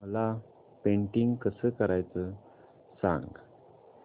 मला पेंटिंग कसं करायचं सांग